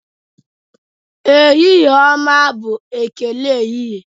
Ehihie ọma bụ ekele ehihie.